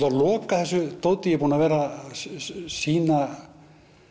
að loka þessu dóti ég er búinn að vera að sýna